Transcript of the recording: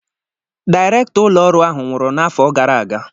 Dịrektọ ụlọọrụ ahụ nwụrụ n'afọ gara aga.